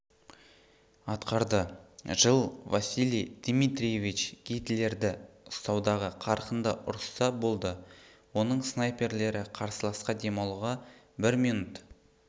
атқарды жыл василий дмитриевич гитлердерді ұстаудағы қарқынды ұрыста болды оның снайперлері қарсыласқа демалуға бір минут